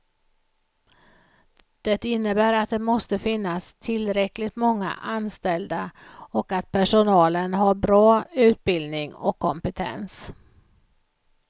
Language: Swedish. Det innebär att det måste finnas tillräckligt många anställda och att personalen har bra utbildning och kompetens.